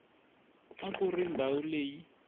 a ku ri ndhawu leyi